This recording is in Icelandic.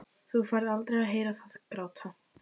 Þú færð aldrei að heyra það gráta.